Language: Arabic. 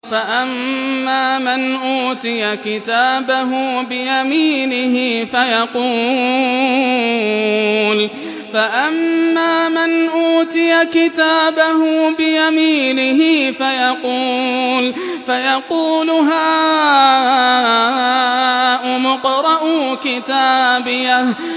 فَأَمَّا مَنْ أُوتِيَ كِتَابَهُ بِيَمِينِهِ فَيَقُولُ هَاؤُمُ اقْرَءُوا كِتَابِيَهْ